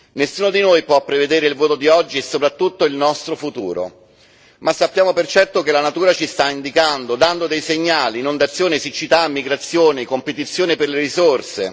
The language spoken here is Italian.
Nessuno di noi può prevedere il voto di oggi e soprattutto il nostro futuro, ma sappiamo per certo che la natura ci sta dando dei segnali inondazioni, siccità, migrazioni, competizione per le risorse.